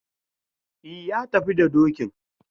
E, ya tafi da dokin.